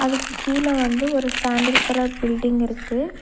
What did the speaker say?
அதுக்கு கீழ வந்து ஒரு சாண்டில் கலர் பில்டிங் இருக்கு.